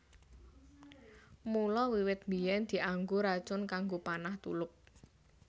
Mula wiwit biyèn dianggo racun kanggo panah tulup